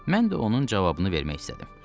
Mən də onun cavabını vermək istədim.